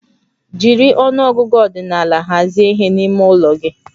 Jiri ọnụ ọgụgụ ordinal hazie ihe n'ime ụlọ gị